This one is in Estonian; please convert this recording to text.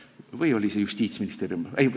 Või oli see Justiitsministeerium?